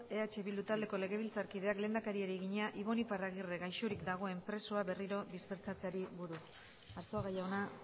eh bildu taldeko legebiltzarkideak lehendakariari egina ibon iparragirre gaixorik dagoen presoa berriro dispertsatzeari buruz arzuaga jauna